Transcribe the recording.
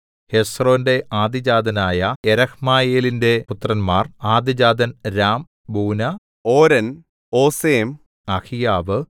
ഹെസ്രോന്റെ ആദ്യജാതനായ യെരഹ്മയേലിന്റെ പുത്രന്മാർ ആദ്യജാതൻ രാം ബൂനാ ഓരെൻ ഓസെം അഹീയാവ്